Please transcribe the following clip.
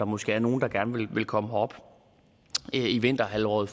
måske er nogle der gerne vil komme herop i vinterhalvåret